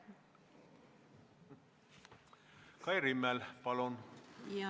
Kai Rimmel, palun!